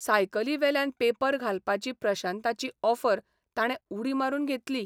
सायकलीवेल्यान paper घालपाची प्रशांताची offer ताणे उडी मारून घेतली.